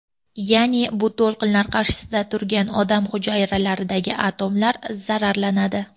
Ya’ni bu to‘lqinlar qarshisida turgan odam hujayralaridagi atomlar zararlanadi.